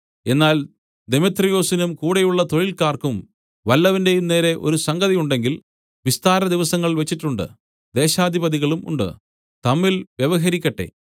എന്നാൽ ദെമേത്രിയൊസിനും കൂടെയുള്ള തൊഴിൽക്കാർക്കും വല്ലവന്റെയും നേരെ ഒരു സംഗതി ഉണ്ടെങ്കിൽ വിസ്താരദിവസങ്ങൾ വെച്ചിട്ടുണ്ട് ദേശാധിപതികളും ഉണ്ട് തമ്മിൽ വ്യവഹരിക്കട്ടെ